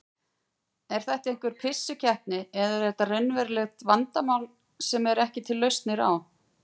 Er þetta einhver pissukeppni eða eru þetta raunveruleg vandamál sem eru ekki til lausnir á?